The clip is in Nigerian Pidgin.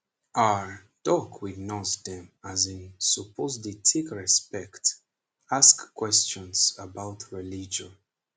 ah doc with nurse dem as in suppose dey take respect ask questions about religion.